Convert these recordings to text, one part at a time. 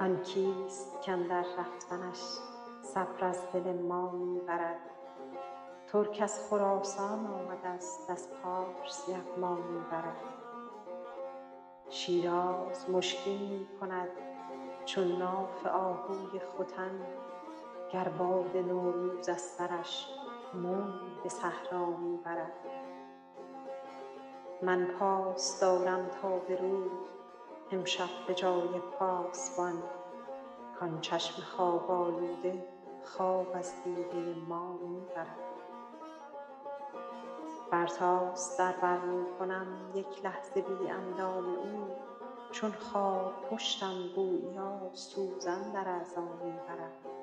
آن کیست کاندر رفتنش صبر از دل ما می برد ترک از خراسان آمدست از پارس یغما می برد شیراز مشکین می کند چون ناف آهوی ختن گر باد نوروز از سرش بویی به صحرا می برد من پاس دارم تا به روز امشب به جای پاسبان کان چشم خواب آلوده خواب از دیده ما می برد برتاس در بر می کنم یک لحظه بی اندام او چون خارپشتم گوییا سوزن در اعضا می برد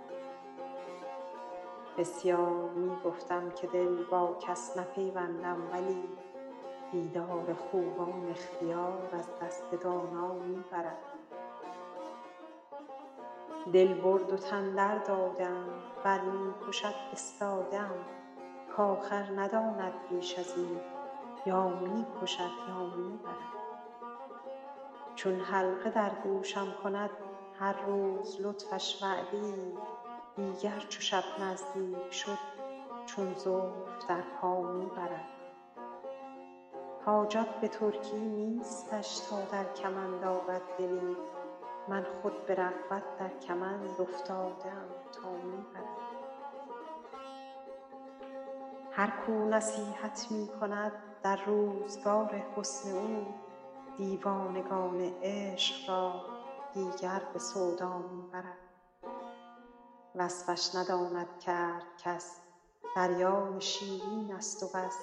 بسیار می گفتم که دل با کس نپیوندم ولی دیدار خوبان اختیار از دست دانا می برد دل برد و تن درداده ام ور می کشد استاده ام کآخر نداند بیش از این یا می کشد یا می برد چون حلقه در گوشم کند هر روز لطفش وعده ای دیگر چو شب نزدیک شد چون زلف در پا می برد حاجت به ترکی نیستش تا در کمند آرد دلی من خود به رغبت در کمند افتاده ام تا می برد هر کو نصیحت می کند در روزگار حسن او دیوانگان عشق را دیگر به سودا می برد وصفش نداند کرد کس دریای شیرینست و بس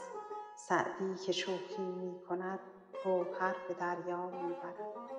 سعدی که شوخی می کند گوهر به دریا می برد